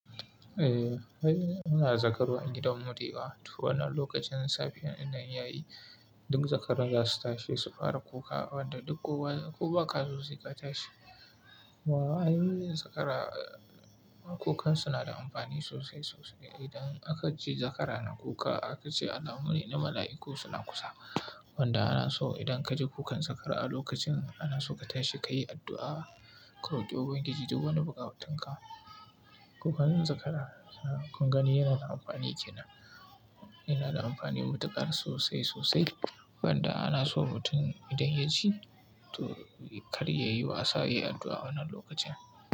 Eh, muna zakaru agidanmu da ya wa. Tu wannan lokacin safiyar ina yayi, duk zakaran za su tashi su fara kuka wanda duk kowa ko ba kazo suka tashi. Wa ayyukan zakara, kukan su na da amfani sosai sosai. Idan aka ji zakara na kuka aka ce al'amun ne na mala'iku suna kusa. Wanda ana so idan kaji kukan zakara a lokacin ana so ka tashi ka yi addu'a, ka roki Ubangiji duk wani buƙa tun ka. Kukan zakara, mun gani yana da amfani ke nan, yana da amfani matukar sosai sosai. Wanda ana so mutum idan ya ji to kar ya yi wasa, ya yi addu'a wannan lokacin.